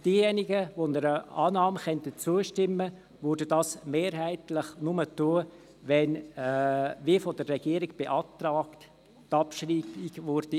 Wer einer Annahme zustimmen könnte, täte es mehrheitlich nur dann, wenn die von der Regierung beantragte Abschreibung erfolgen würde.